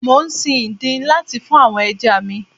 Mò ń sin ìdin láti fún àwọn ẹja mi.